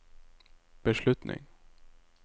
beslutning